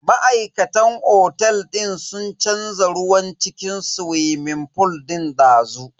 Ma'aikatan otel din sun canza ruwan cikin swimming fool din dazu.